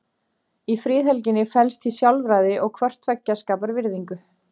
Í friðhelginni felst því sjálfræði og hvort tveggja skapar virðingu.